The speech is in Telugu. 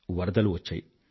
వరదలు వచ్చాయి